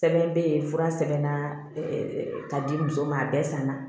Sɛbɛn bɛ yen fura sɛbɛnna k'a di muso ma a bɛɛ sanna